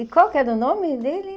E qual que era o nome dele?